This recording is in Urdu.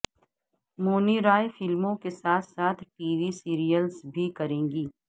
مونی رائے فلموں کے ساتھ ساتھ ٹی وی سیریلس بھی کریں گی